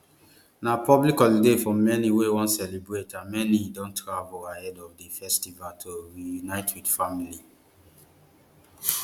na public holiday for many wey wan celebrate and many don travel ahead of di festivities to reunite wit family